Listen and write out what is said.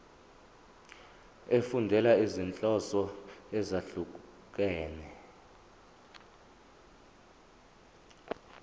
efundela izinhloso ezahlukehlukene